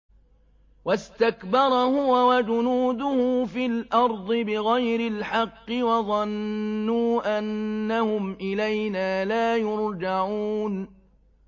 وَاسْتَكْبَرَ هُوَ وَجُنُودُهُ فِي الْأَرْضِ بِغَيْرِ الْحَقِّ وَظَنُّوا أَنَّهُمْ إِلَيْنَا لَا يُرْجَعُونَ